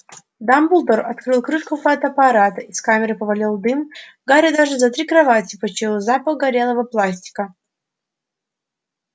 дамблдор открыл крышку фотоаппарата из камеры повалил дым гарри даже за три кровати почуял запах горелого пластика